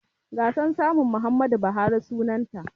Gasar saman Muhammadu Buhari sunanta.